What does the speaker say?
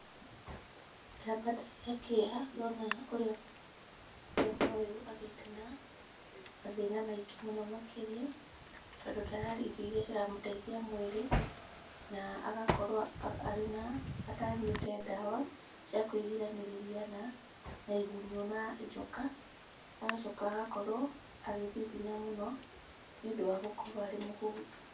Ndamba ndagĩa kĩeha ndona ũrĩa mwana ũyũ agĩte na mathĩna maingĩ mũno makĩria. Tondũ ndararĩa irio iria ciramũteithia mwĩrĩ na agakorwo atanyũĩte ndawa cia kũĩgiranĩrĩa na igunyũ na njoka. Agacoka agakorwo agĩthithina mũno nĩ ũndũ wa gũkorwo arĩ mũhũtu.